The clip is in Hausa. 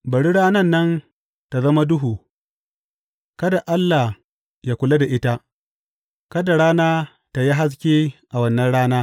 Bari ranan nan ta zama duhu; kada Allah yă kula da ita; kada rana tă yi haske a wannan rana.